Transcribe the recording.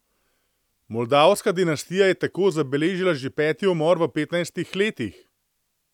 Moldavska dinastija je tako zabeležila že peti umor v petnajstih letih!